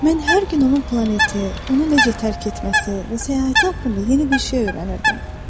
Mən hər gün onun planeti, onu necə tərk etməsi və səyahəti haqqında yeni bir şey öyrənirdim.